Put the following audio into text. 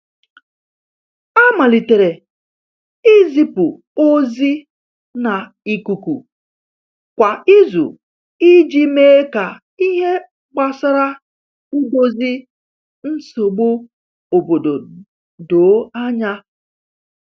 A malitere izipu ozi na ikuku kwa izu iji mee ka ihe gbasara idozi nsogbu obodo doo anya.